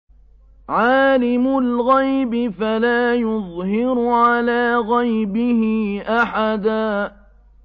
عَالِمُ الْغَيْبِ فَلَا يُظْهِرُ عَلَىٰ غَيْبِهِ أَحَدًا